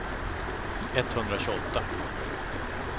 etthundratjugoåtta